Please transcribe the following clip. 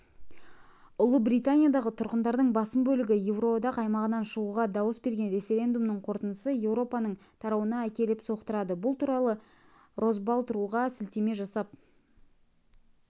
ұлыбританиядағы тұрғындардың басым бөлігі еуроодақ аймағынан шығуға дауыс берген референдумның қорытындысы еуропаның тарауына әкеліп соқтырады бұл туралы росбалт ру-ға сілтеме жасап